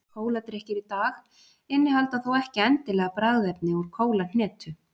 Kóladrykkir í dag innihalda þó ekki endilega bragðefni úr kólahnetu.